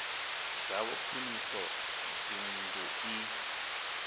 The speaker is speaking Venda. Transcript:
dzavho khwiniso ya dzinnḓu i